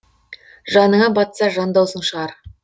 жаныңа батса жан даусың шығар